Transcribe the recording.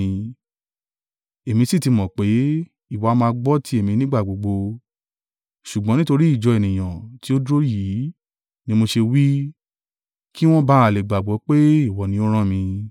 Èmi sì ti mọ̀ pé, ìwọ a máa gbọ́ ti èmi nígbà gbogbo, ṣùgbọ́n nítorí ìjọ ènìyàn tí ó dúró yìí ni mo ṣe wí i, kí wọn ba à lè gbàgbọ́ pé ìwọ ni ó rán mi.”